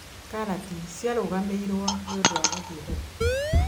Karati ciarũgamĩirũo nĩ ũndũ wa gũthiĩ thoko